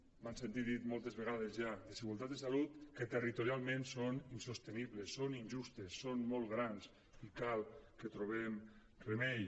m’ho han sentit dir moltes vegades ja desigualtats en salut que territorialment són insostenibles són injustes són molt grans i cal que hi trobem remei